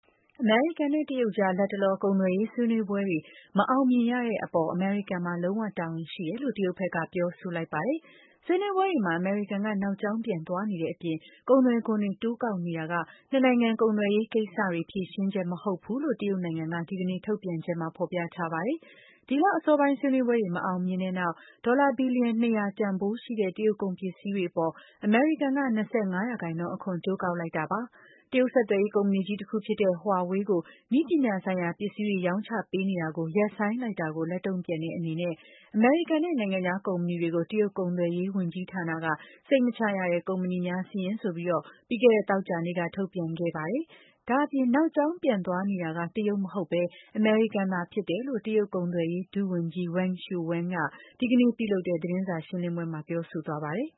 အမေရိကန်နဲ့ တရုတ်ကြား လတ်တလော ကုန်သွယ်ရေးဆွေးနွေးပွဲတွေ မအောင်မြင်ရတဲ့အပေါ် အမေရိကန်မှာ လုံးဝတာဝန်ရှိတယ်လို့ တရုတ်ဘက်က ပြောဆိုလိုက်ပါတယ်။ဆွေးနွေးပွဲတွေမှာ အမေရိကန်က နောက်ကြောင်းပြန်သွားနေတဲ့အပြင် ကုန်သွယ်ခွန်တွေ တိုးကောက်နေတာက နှစ်နိုင်ငံ ကုန်သွယ်ရေးကိစ္စတွေအတွက် ဖြေရှင်းချက် မဟုတ်ဘူးလို့ ဒီကနေ့ထုတ်ပြန်တဲ့ တရုတ်အစိုးရရဲ့ အစီရင်ခံစာထဲမှာ ဖော်ပြထားပါတယ်။ ဒီလအစောပိုင်း ဆွေးနွေးပွဲတွေ မအောင်မမြင်ဖြစ်ခဲ့ပြီးတဲ့နောက် ဒေါ်လာ ဘီလီယံ ၂၀၀ တန်ဖိုးရှိတဲ့ တရုတ်ကုန်ပစ္စည်းတွေအပေါ် အမေရိကန်က ၂၅% အခွန် တိုးကောက်လိုက်တာပါ။ တရုတ်ဆက်သွယ်ရေးကုမ္ပဏီကြီး တခုဖြစ်တဲ့ Huawei နဲ့ သူနဲ့ဆက်စပ်တဲ့ကုမ္ပဏီ ၆၈ ခုကို နည်းပညာဆိုင်ရာ ပစ္စည်းတွေရောင်းချပေးနေတာရပ်ဆိုင်းလိုက်တဲ့အပေါ် လက်တုံ့ပြန်တဲ့အနေနဲ့ “စိတ်မချရတဲ့ ကုမ္ပဏီများစာရင်း” ဆိုပြီး သောကြာနေ့က ထုတ်ပြန်ခဲ့ပါတယ်။ နောက်ကြောင်းပြန်သွားနေတာ အမေရိကန်ဖြစ်တယ်လို့လည်း တရုတ် ကုန်သွယ်ရေး ဒုဝန်ကြီး Wang Shouwen က ဒီကနေ့ပြုလုပ်တဲ့ သတင်းစာရှင်းလင်းပွဲမှာ ပြောဆိုသွားပါတယ်